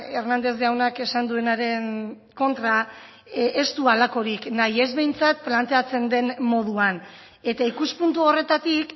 hernández jaunak esan duenaren kontra ez du halakorik nahi ez behintzat planteatzen den moduan eta ikuspuntu horretatik